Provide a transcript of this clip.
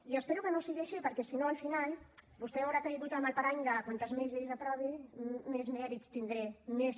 i espero que no sigui així perquè si no al final vostè haurà caigut en el parany de quantes més lleis aprovi més mèrits tindré més